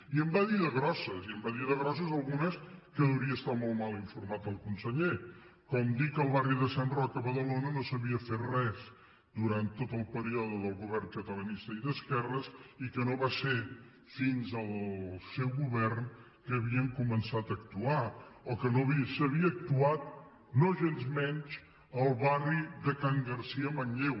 i en va dir de grosses i en va dir de grosses algunes que deuria estar molt mal informat el conseller com dir que al barri de sant roc a badalona no s’havia fet res durant tot el període del govern catalanista i d’esquerres i que no va ser fins al seu govern que hi havien començat a actuar o que no s’havia actuat nogensmenys al barri de can garcia a manlleu